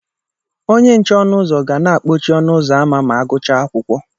Onye nche ọnụ ụzọ ga na-akpọchi ọnụ ụzọ ámá ma a gụchaa akwụkwọ